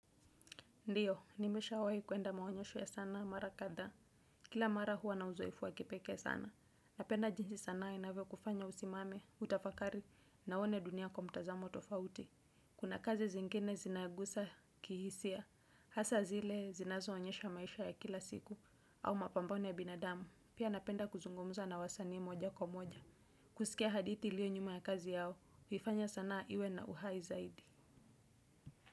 Ndiyo, nimeshawahi kuenda maonyesho ya sana mara kadhaa. Kila mara huwa na uzoefu wa kipeke sana. Napenda jinsi sanaa inavyokufanya usimame, utafakari, na uone dunia kwa mtazamo tofauti. Kuna kazi zingine zinagusa kihisia. Hasa zile zinazo onyesha maisha ya kila siku, au mapambano ya binadamu. Pia napenda kuzungumuza na wasanii moja kwa moja. Kusikia hadithi iliyo nyuma ya kazi yao, huifanya sanae iwe na uhai zaidi.